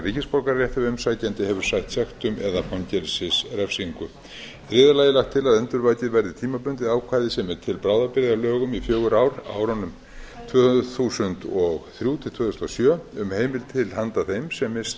ríkisborgararétt ef umsækjandi hefur sætt sektum eða fangelsisrefsingu í þriðja lagi er lagt til að endurvakið verði tímabundið ákvæði sem er til bráðabirgða í lögum um fjögur ár árunum tvö þúsund og þrjú til tvö þúsund og sjö um heimild til handa þeim sem misst